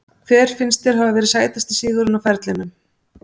Hver finnst þér hafa verið sætasti sigurinn á ferlinum?